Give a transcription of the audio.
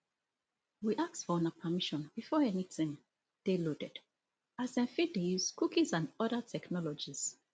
we ask for una permission before anytin dey loaded as dem fit dey use cookies and oda technologies